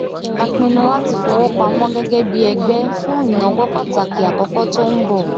a pinnu láti fi owó pamọ gégé bí ẹgbé fún ìnáwó pàtàkì àkókó tó n bọ